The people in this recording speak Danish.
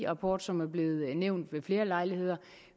rapport som er blevet nævnt ved flere lejligheder